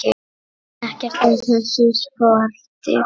Ekkert af þessu skorti.